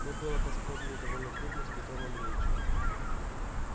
мы было поспорили довольно крупно с петром андреичем